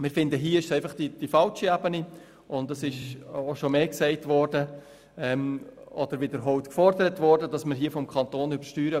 Zudem ist auch der Nutzen solcher Abrieglungen manchmal fraglich.